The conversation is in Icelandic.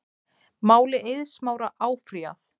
Máli Eiðs Smára áfrýjað